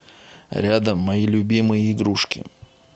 рядом мои любимые игрушки